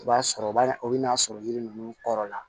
I b'a sɔrɔ o b'a o bɛ n'a sɔrɔ yiri ninnu kɔrɔ la